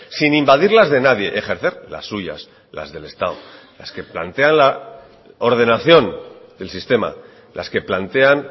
sin invadir las de nadie ejercer las suyas las del estado las que plantea la ordenación del sistema las que plantean